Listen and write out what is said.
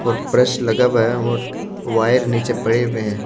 और ब्रश लगा हुआ है और वायर नीचे पड़े हुए हैं।